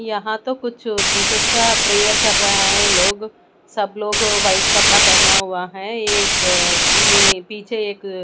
यहां तो कुछ जीसस का प्रेयर कर रहा है लोग सब लोग व्हाइट कपड़ा पहना हुआ है ये एक ये पीछे एक--